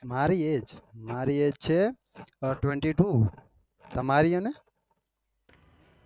મારી age છે અ twenty two તમારી અને?